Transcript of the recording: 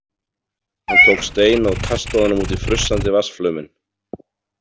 Hann tók stein og kastaði honum út í frussandi vatnsflauminn.